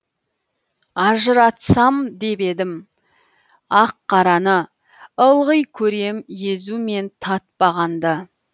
ажыратсам деп едім ақ қараны ылғи көрем езу мен татпағанды